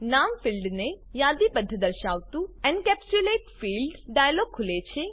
નામ ફિલ્ડને યાદીબદ્ધ દર્શાવતું એન્કેપ્સ્યુલેટ ફિલ્ડ્સ ડાયલોગ ખુલે છે